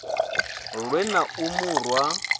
lwe na u mu rwa